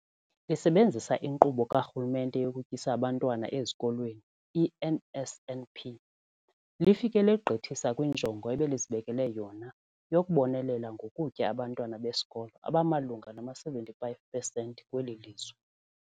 Lisebenzisa iNkqubo kaRhulumente yokuTyisa Abantwana Ezikolweni, i-NSNP, lifike legqithisa kwinjongo ebelizibekele yona yokubonelela ngokutya abantwana besikolo abamalunga nama-75 percent kweli lizwe.